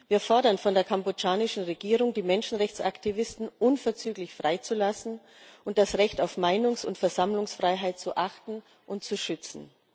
Wir fordern von der kambodschanischen Regierung, die Menschenrechtsaktivisten unverzüglich freizulassen und das Recht auf Meinungs und Versammlungsfreiheit zu achten und zu schützen.